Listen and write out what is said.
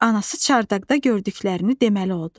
Anası çardaqda gördüklərini deməli oldu.